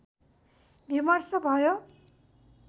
विमर्श भयो